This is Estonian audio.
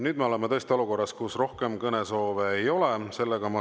Nüüd me oleme tõesti olukorras, kus rohkem kõnesoove ei ole.